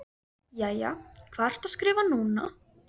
Jæja, hvað ertu að skrifa núna?